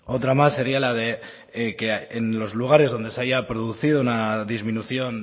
otra más sería la de que en los lugares en los que se haya producido una disminución